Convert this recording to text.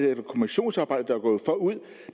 eller kommissionsarbejde forud